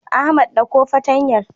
Ahmad ɗauko fartanyar.